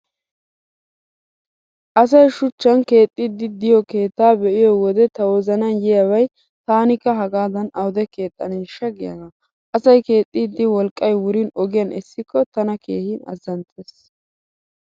Asay shuchchan keexxiiddi diyo keettaa be'iyo wode ta wozanan yiyaabay 'taanikka hagaadan awude keexxaneeshsha' giyaagaa. Asay keexxiiddi wolqqay wurin ogiyaan essikko tana keehi azzanttees.